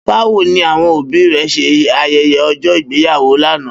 Bawo ni awọn obi rẹ ṣe ayẹyẹ ọjọ igbeyawo lana?